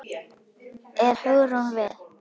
Er Hugrún við?